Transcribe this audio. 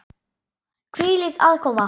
Hvílík aðkoma!